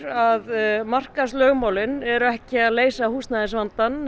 að markaðslögmálin eru ekki að leysa húsnæðisvandann